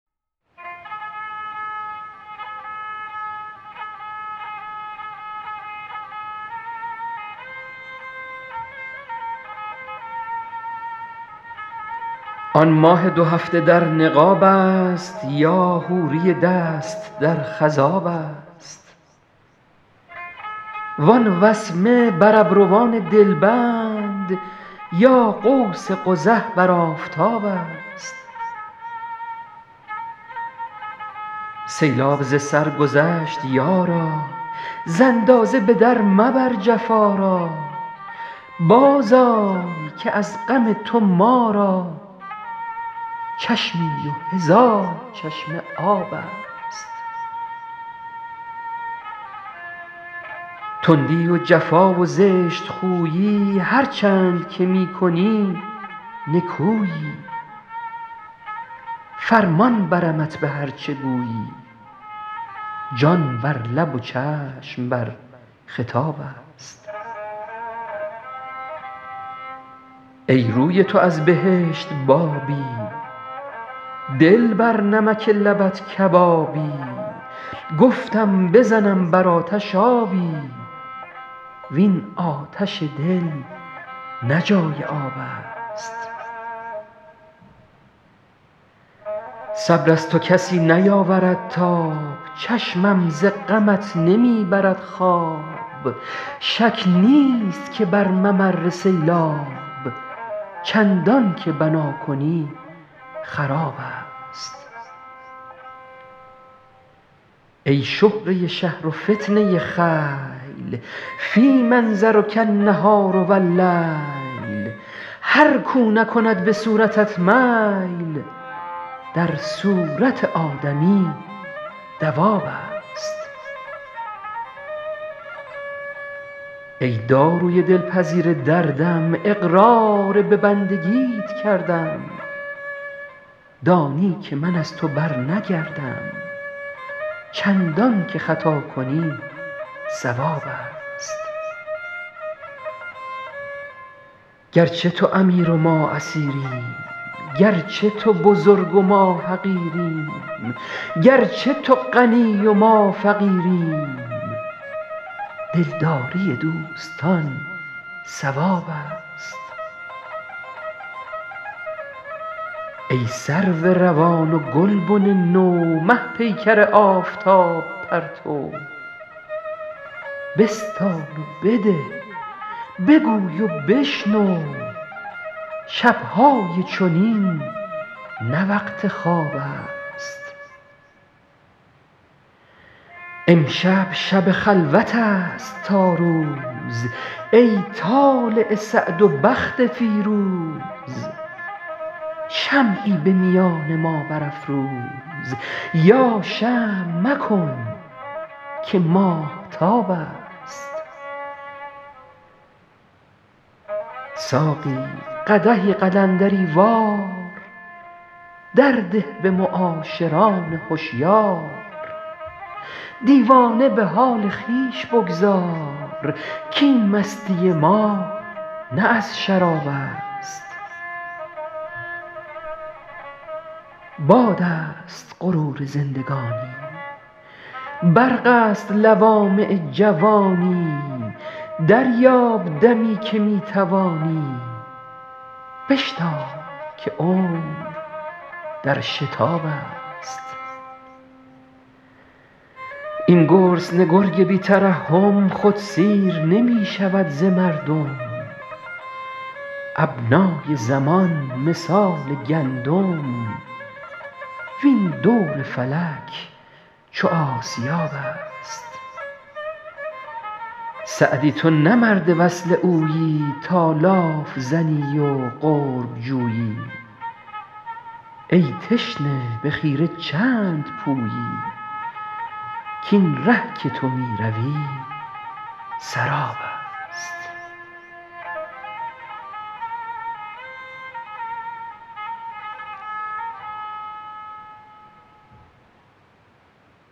آن ماه دو هفته در نقاب است یا حوری دست در خضاب است وان وسمه بر ابروان دلبند یا قوس قزح بر آفتاب است سیلاب ز سر گذشت یارا ز اندازه به در مبر جفا را بازآی که از غم تو ما را چشمی و هزار چشمه آب است تندی و جفا و زشت خویی هرچند که می کنی نکویی فرمان برمت به هر چه گویی جان بر لب و چشم بر خطاب است ای روی تو از بهشت بابی دل بر نمک لبت کبابی گفتم بزنم بر آتش آبی وین آتش دل نه جای آب است صبر از تو کسی نیاورد تاب چشمم ز غمت نمی برد خواب شک نیست که بر ممر سیلاب چندان که بنا کنی خراب است ای شهره شهر و فتنه خیل فی منظرک النهار و اللیل هر کاو نکند به صورتت میل در صورت آدمی دواب است ای داروی دلپذیر دردم اقرار به بندگیت کردم دانی که من از تو برنگردم چندان که خطا کنی صواب است گرچه تو امیر و ما اسیریم گرچه تو بزرگ و ما حقیریم گرچه تو غنی و ما فقیریم دلداری دوستان ثواب است ای سرو روان و گلبن نو مه پیکر آفتاب پرتو بستان و بده بگوی و بشنو شب های چنین نه وقت خواب است امشب شب خلوت است تا روز ای طالع سعد و بخت فیروز شمعی به میان ما برافروز یا شمع مکن که ماهتاب است ساقی قدحی قلندری وار در ده به معاشران هشیار دیوانه به حال خویش بگذار کاین مستی ما نه از شراب است باد است غرور زندگانی برق است لوامع جوانی دریاب دمی که می توانی بشتاب که عمر در شتاب است این گرسنه گرگ بی ترحم خود سیر نمی شود ز مردم ابنای زمان مثال گندم وین دور فلک چو آسیاب است سعدی تو نه مرد وصل اویی تا لاف زنی و قرب جویی ای تشنه به خیره چند پویی کاین ره که تو می روی سراب است